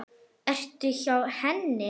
Ertu hjá henni?